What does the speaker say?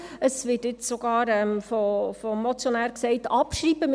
Es wird jetzt vom Motionär sogar gesagt, abschreiben.